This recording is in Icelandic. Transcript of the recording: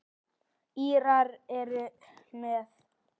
Írar eru með.